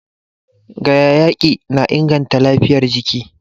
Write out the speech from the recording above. gayayyaki na inganta lafiyar jiki